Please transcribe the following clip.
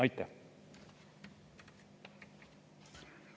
Aitäh!